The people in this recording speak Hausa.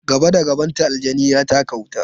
Gaba da gabanta, aljani ya taka wuta.